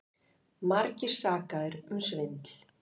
Margir sakaðir um svindl